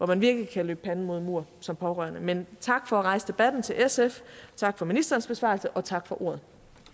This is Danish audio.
man virkelig kan løbe panden mod en mur som pårørende men tak for at rejse debatten til sf tak for ministerens besvarelse og tak for ordet